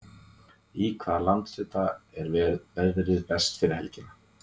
í hvaða landshluta er veðrið best yfir helgina